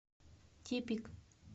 тепик